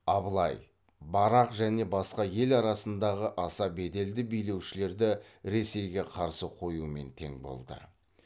абылай барақ және басқа ел арасындағы аса беделді билеушілерді ресейге қарсы қоюмен тең болды